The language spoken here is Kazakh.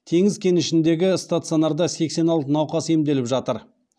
теңіз кенішіндегі стационарда сексен алты науқас емделіп жатыр